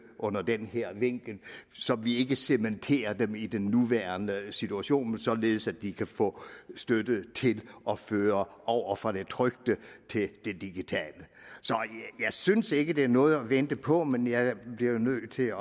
under den her vinkel så vi ikke cementerer dem i den nuværende situation men således at de kan få støtte til at føre over fra det trykte til det digitale så jeg synes ikke det er noget at vente på men jeg bliver jo nødt til at